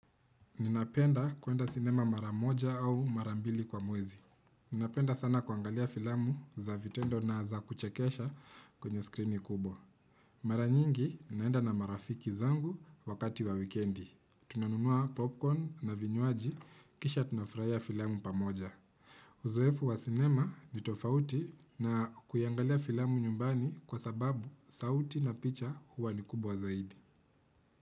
Ninapenda kuenda sinema mara moja au mara mbili kwa mwezi. Ninapenda sana kuangalia filamu za vitendo na za kuchekesha kwenye skrini kubwa. Mara nyingi ninaenda na marafiki zangu wakati wa wikendi. Tunanunua popcorn na vinywaji kisha tunafurahia filamu pamoja. Uzoefu wa sinema ni tofauti na kuiangalia filamu nyumbani kwa sababu sauti na picha huwa ni kubwa zaidi.